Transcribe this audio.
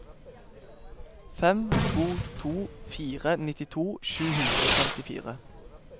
fem to to fire nittito sju hundre og femtifire